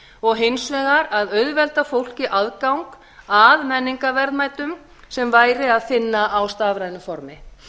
og hins vegar að auðvelda fólki aðgang að menningarverðmætum sem væri að finna á stafrænu formi